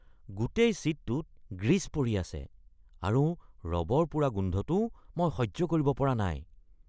গোটেই ছিটটোত গ্ৰীজ পৰি আছে আৰু ৰবৰ পোৰা গোন্ধটোও মই সহ্য কৰিব পৰা নাই।